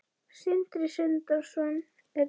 Sindri Sindrason: Er það ekki?